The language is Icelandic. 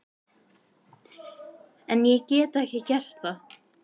En ég get ekki gert það.